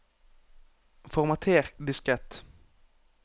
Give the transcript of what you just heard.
formater diskett